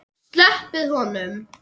SLEPPIÐ HONUM!